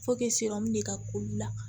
de ka k'olu la